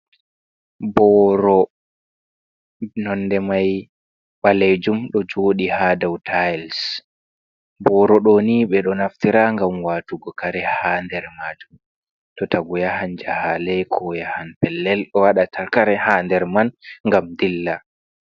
"Boro" nonde mai ɓalejum ɗo joɗi ha dou tayils boro ɗoni ɓeɗo naftira ngam watugo kare ha nder majum to tagu yahan jahale ko yahan pellel waɗata kare ha nder man gam ɗilla.